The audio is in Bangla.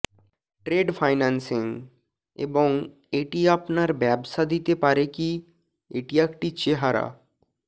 ট্রেড ফাইন্যান্সিং এবং এটি আপনার ব্যবসা দিতে পারে কি এটি একটি চেহারা